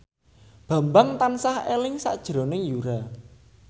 Bambang tansah eling sakjroning Yura